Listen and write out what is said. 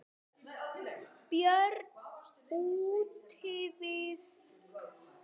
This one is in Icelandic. Björn útivið.